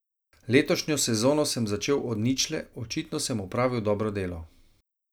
Letošnjo sezono sem začel od ničle, očitno sem opravil dobro delo.